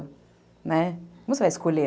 né, como você vai escolher?